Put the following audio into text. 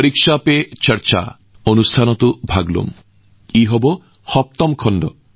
ইয়াৰ ফলত মই ছাত্ৰছাত্ৰীৰ সৈতে মত বিনিময় কৰাৰ সুযোগ পাওঁ আৰু তেওঁলোকৰ পৰীক্ষাৰ লগত জড়িত মানসিক চাপ কম কৰিবলৈও চেষ্টা কৰো